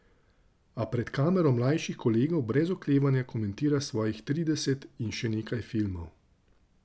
A pred kamero mlajših kolegov brez oklevanja komentira svojih trideset in še nekaj filmov.